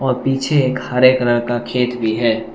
पीछे एक हरे कलर का खेत भी है।